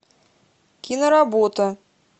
киноработа